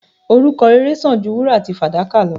Orúkọ rere sàn ju wúrà àti fàdákà lọ.